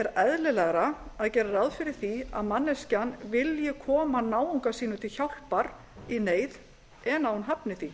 eðlilegra að gera ráð fyrir því að manneskjan vilji koma náunga sínum til hjálpar í neyð en að hún hafni því